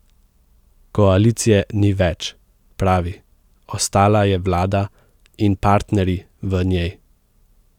Koalicije ni več, pravi, ostala je vlada in partnerji v njej.